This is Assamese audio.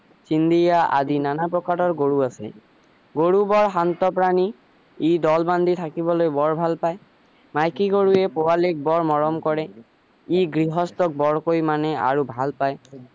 আদি নানান প্ৰকাৰৰ গৰু আছে গৰু বৰ শান্ত প্ৰাণী ই দল বান্ধি থাকিবলৈ বৰ ভাল পাই মাইকী গৰুৱে পোৱালিক বৰ মৰম কৰে ই গৃহস্থক বৰকৈ মানে আৰু ভাল পাই